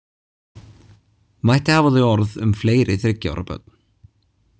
Mætti hafa þau orð um fleiri þriggja ára börn.